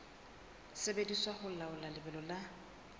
sebediswa ho laola lebelo la